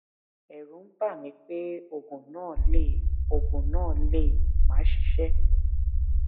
ẹrù ń bà mí pé oògùn náà lè oògùn náà lè máà ṣiṣẹ